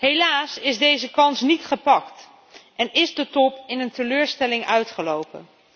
Helaas is deze kans niet gepakt en is de top op een teleurstelling uitgelopen.